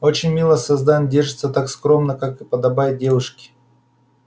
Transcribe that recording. очень милое создание держится так скромно как и подобает девушке